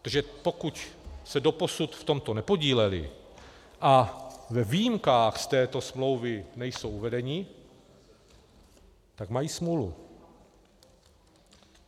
Protože pokud se doposud v tomto nepodílely a ve výjimkách z této smlouvy nejsou uvedeny, tak mají smůlu.